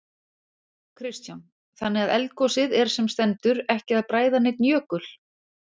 Kristján: Þannig að eldgosið er sem stendur ekki að bræða neinn jökul?